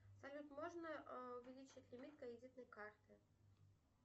салют можно увеличить лимит кредитной карты